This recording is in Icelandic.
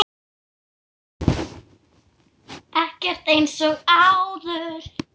sonur, Siggi.